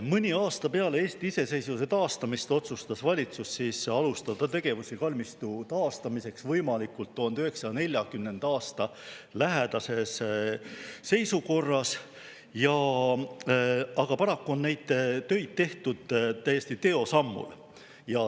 Mõni aasta peale Eesti iseseisvuse taastamist otsustas valitsus alustada tegevusi kalmistu taastamiseks võimalikult 1940. aasta lähedases seisukorras, aga paraku on neid töid tehtud täiesti teosammul.